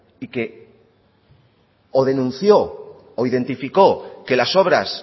y que o denunció o identificó que las obras